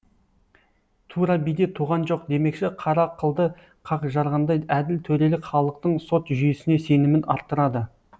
тура биде туған жоқ демекші қара қылды қақ жарғандай әділ төрелік халықтың сот жүйесіне сенімін арттырады